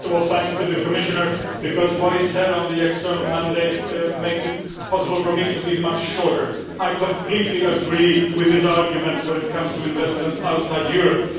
First of all, thanks to the Commissioner, because what he said on the external mandate makes it possible for me to be much shorter. I completely agree with his arguments when it comes to investments outside Europe.